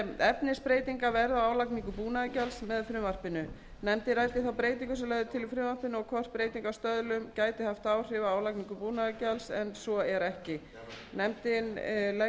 efnisbreytingar verða á álagningu búnaðargjalds með frumvarpinu nefndin ræddi þá breytingu sem lögð er til í frumvarpinu og hvort breyting